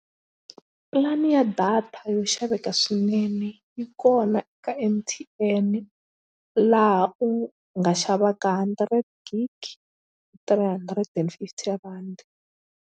Pulani ya data yo xaveka swinene yi kona eka M_T_N laha u nga xavaka hundred gig three hundred and fifty rhandi.